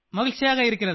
तमिल में जवाब